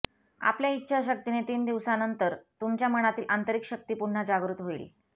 आपल्या इच्छाशक्तीने तीन दिवसांनंतर तुमच्या मनातील आंतरिक शक्ती पुन्हा जागृत होईल